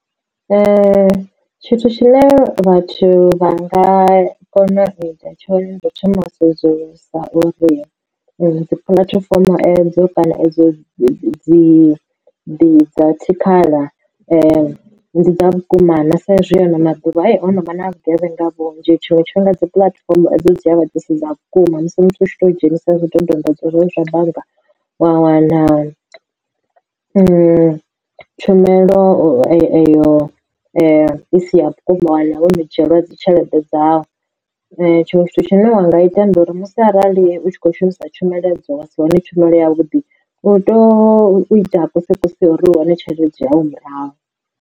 Tshithu tshine vhathu vha nga kona uita tshone ndi u thoma u sedzulusa uri dzi puḽatifomo edzo kana edzo dzi dzi dza tshikhala ndi dza vhukuma na. Sa izwi ano maḓuvha hono vha na vhugevhenga vhunzhi ha tshiṅwe tshifhinga dzi puḽatifomo edzo dzi avha dzisi dza vhukuma musi muthu a tshi to dzhenisa zwidodombodzwa zwoṱhe zwa bannga wa wana tshumelo eyo isi ya vhukuma. Wa wana wono dzhielwa dzi tshelede dzau tshiṅwe tshithu tshine wanga ita ndi uri musi arali u tshi kho shumisa tshumelo edzo wa si wane tshumelo yavhuḓi u tea u ita kose kose ya uri u wane tshelede yau murahu.